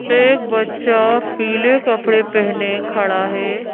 एक बच्चा पीले कपड़े पहने खड़ा है।